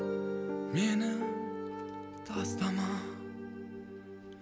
мені тастама